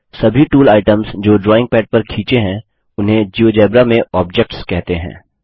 सभी tool items जो drawing pad पर खींचे हैं उन्हें जियोजेब्रा में ऑब्जेक्ट्स कहते हैं